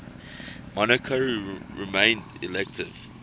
monarchy remained elective